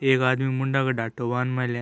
एक आदमी मुंडा का ढाटौ बांध मेलो हैं।